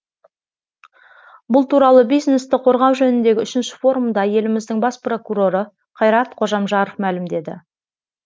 бұл туралы бизнесті қорғау жөніндегі үшінші форумда еліміздің бас прокуроры қайрат қожамжаров мәлімдеді